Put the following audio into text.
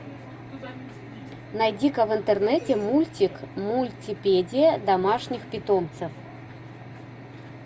найди ка в интернете мультик мультипедия домашних питомцев